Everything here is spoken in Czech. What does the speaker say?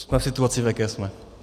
Jsme v situaci, v jaké jsme.